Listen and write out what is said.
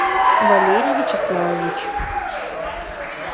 валерий вячеславович